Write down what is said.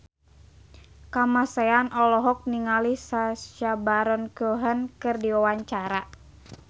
Kamasean olohok ningali Sacha Baron Cohen keur diwawancara